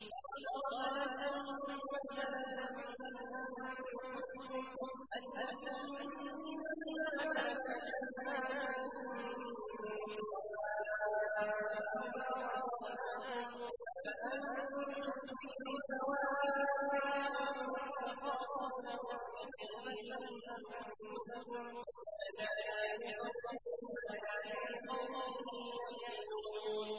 ضَرَبَ لَكُم مَّثَلًا مِّنْ أَنفُسِكُمْ ۖ هَل لَّكُم مِّن مَّا مَلَكَتْ أَيْمَانُكُم مِّن شُرَكَاءَ فِي مَا رَزَقْنَاكُمْ فَأَنتُمْ فِيهِ سَوَاءٌ تَخَافُونَهُمْ كَخِيفَتِكُمْ أَنفُسَكُمْ ۚ كَذَٰلِكَ نُفَصِّلُ الْآيَاتِ لِقَوْمٍ يَعْقِلُونَ